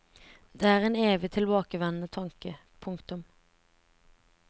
Det er en evig tilbakevendende tanke. punktum